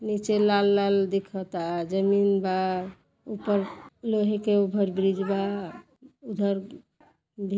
निचे लाल लाल दिखत आ जमीन बा उपर लोहे के ओवर ब्रिज बा उधर --